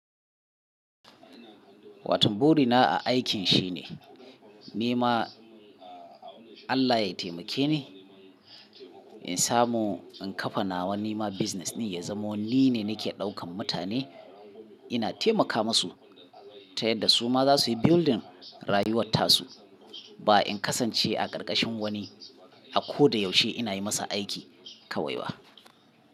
Wato buri na a aikin shine ni ma Allah ya taimake ni in samu in kafa nawa ni ma kasuwancin din ya zama wanni ne nake daukan mutane ina taimaka masu ta yadda su ma za su yi gina rayuwar tasu. Ba in kasance a karkashin wani a ko da yaushe ina yi masa aiki kawai ba.